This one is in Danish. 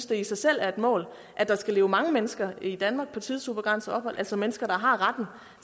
det i sig selv er et mål at der skal leve mange mennesker i danmark på tidsubegrænset ophold altså mennesker der har retten